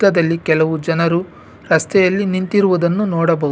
ಪಕ್ಕದಲ್ಲಿ ಕೆಲವು ಜನರು ರಸ್ತೆಯಲ್ಲಿ ನಿಂತಿರುವುದನ್ನು ನೋಡಬಹುದು.